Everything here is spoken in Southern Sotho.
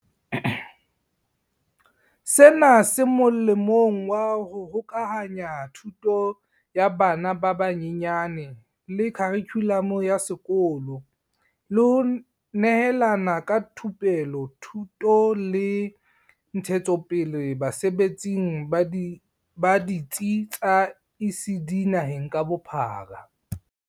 Sena se molemong wa ho hokahanya thuto ya bana ba banyenyane le kharikhulamo ya sekolo, le ho nehelana ka thupelo, thuto le ntshetsopele basebetsing ba ditsi tsa ECD naheng ka bophara.